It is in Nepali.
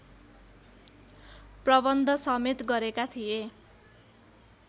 प्रबन्धसमेत गरेका थिए